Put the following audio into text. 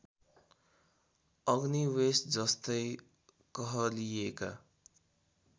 अग्निवेश जस्तै कहलिएका